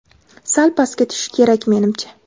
Sal pastga tushish kerak menimcha.